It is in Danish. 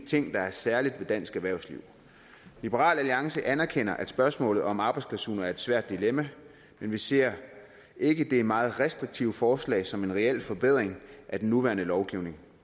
der er særligt ved dansk erhvervsliv liberal alliance anerkender at spørgsmålet om arbejdsklausuler er et svært dilemma men vi ser ikke det meget restriktive forslag som en reel forbedring af den nuværende lovgivning